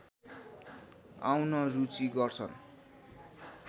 आउन रुचि गर्छन्